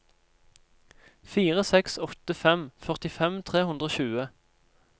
fire seks åtte fem førtifem tre hundre og tjue